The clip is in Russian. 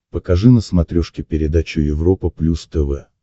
покажи на смотрешке передачу европа плюс тв